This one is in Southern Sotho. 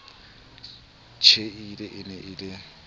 tjhehile e ne e le